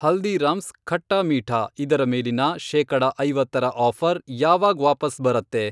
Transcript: ಹಲ್ದೀರಾಮ್ಸ್ ಖಟ್ಟಾ ಮೀಠಾ ಇದರ ಮೇಲಿನ ಶೇಕಡ ಐವತ್ತರ ಆಫ಼ರ್ ಯಾವಾಗ್ ವಾಪಸ್ ಬರತ್ತೆ?